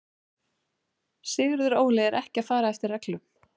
Sigurður Óli er ekki að fara eftir reglum.